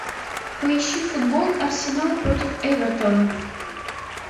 поищи футбол арсенал против эвертона